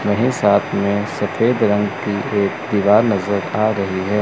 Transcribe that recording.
यही साथ में सफेद रंग की एक दीवार नजर आ रही है।